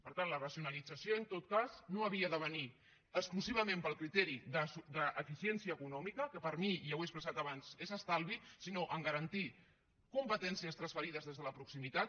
per tant la racionalització en tot cas no havia de venir exclusivament pel criteri d’eficiència econòmica que per mi i ja ho he expressat abans és estalvi sinó a garantir competències transferides des de la proximitat